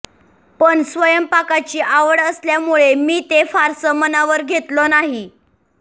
पण स्वयंपाकाची आवड असल्यामुळे मी ते फारसं मनावर घेतलं नाही